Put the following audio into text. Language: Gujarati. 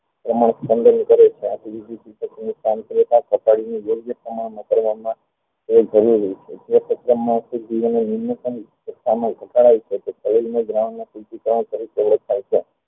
તેનું ઉલન્ગ્ન કરે છે યોગ્ય પ્રમાણ માં કરવા માં તે જરૂરી છે